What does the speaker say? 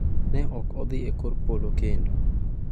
Ne ok odhi e kor polo kendo.